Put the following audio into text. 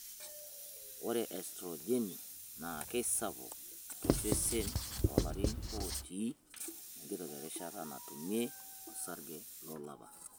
Ore estrojeni naa keisapuk tosesen toolarin otii enkitok erishata natumie osarge lolapa.